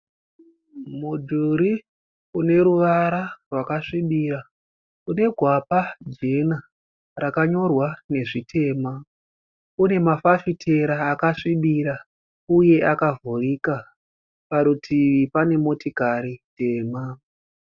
Mudhuri uneruvara rwakasvibira. Une gwapa jena rakanyorwa nezvitema. Unemafafitera akasvibira uye akavhurika. Parutivi pane motokari dema.